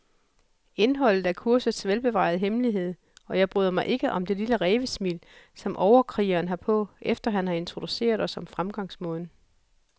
Indholdet er kursets velbevarede hemmelighed, og jeg bryder mig ikke om det lille rævesmil, som overkrigeren har på, efter han har introduceret os om fremgangsmåden.